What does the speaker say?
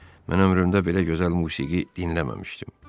Mən ömrümdə belə gözəl musiqi dinləməmişdim."